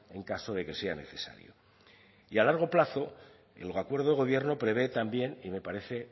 en caso de que sea necesario y a largo plazo el acuerdo de gobierno prevé también y me parece